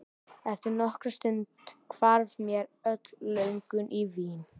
Eftir nokkra stund hvarf mér öll löngun í vín.